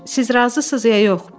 Siz razısız ya yox?